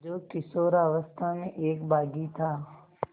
जो किशोरावस्था में एक बाग़ी था